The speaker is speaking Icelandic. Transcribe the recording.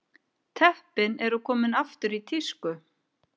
Teppin eru komin aftur í tísku